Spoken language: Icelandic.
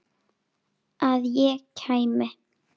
Að ég kæmi?